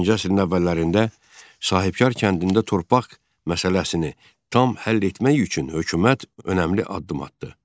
20-ci əsrin əvvəllərində sahibkar kəndində torpaq məsələsini tam həll etmək üçün hökumət önəmli addım atdı.